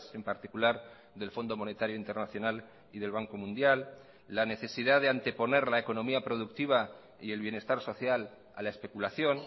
en particular del fondo monetario internacional y del banco mundial la necesidad de anteponer la economía productiva y el bienestar social a la especulación